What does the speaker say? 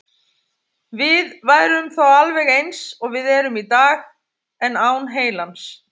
Við værum þá alveg eins og við erum í dag, en án heilans.